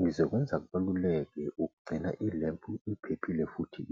ngizokwenza kubaluleke ukugcina i-lempu iphephile futhi .